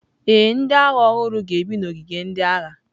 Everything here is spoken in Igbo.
Ee, ndị agha ọhụrụ ga-ebi n’ogige ndị agha.